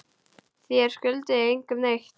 Þér skuldið engum neitt.